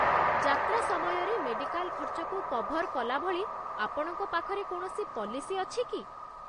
ଯାତ୍ରା ସମୟରେ ମେଡ଼ିକାଲ ଖର୍ଚ୍ଚକୁ କଭର୍ କଲାଭଳି ଆପଣଙ୍କ ପାଖରେ କୌଣସି ପଲିସି ଅଛି କି?